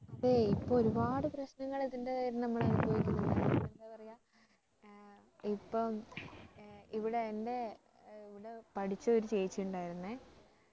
അതെ ഇപ്പൊ ഒരുപാട് പ്രശ്നങ്ങൾ ഇതിന്റെ പേരിൽ നമ്മൾ അനുഭവിക്കുന്നുണ്ട് എന്താ പറയാ ഇപ്പോ ഏർ ഇവിടെ എന്റെ ഇവിടെ പഠിച്ച ഒരു ചേച്ചിയുണ്ടായിരുന്നേ